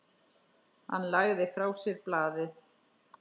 Hann lagði frá sér blaðið.